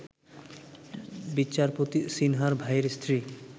বিচারপতি সিনহার ভাইয়ের স্ত্রী